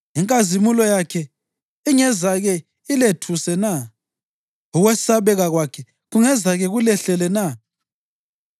Inkazimulo yakhe ingezake ilethuse na? Ukwesabeka kwakhe kungezake kulehlele na?